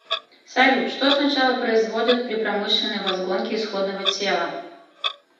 салют что сначала производят при промышленной возгонке исходного тела